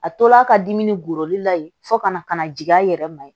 A tol'a ka dimi golo la yen fo kana jigin a yɛrɛ ma